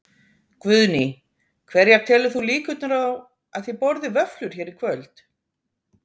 Guðný: Hverjar telur þú líkurnar á að þið borðið vöfflur hér í kvöld?